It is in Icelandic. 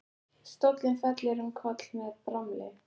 Stóllinn fellur um koll með bramli.